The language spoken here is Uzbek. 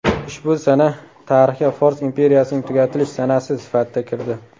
Ushbu sana tarixga Fors imperiyasining tugatilish sanasi sifatida kirdi.